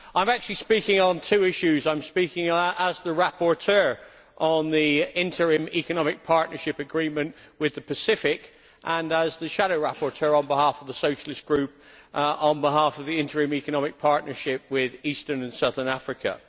I am actually speaking on two issues I am speaking as the rapporteur on the Interim Economic Partnership Agreement with the Pacific and as the shadow rapporteur on behalf of the Socialist Group on behalf of the Interim Economic Partnership with Eastern and Southern Africa.